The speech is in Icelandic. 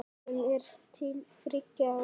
sem er til þriggja ára.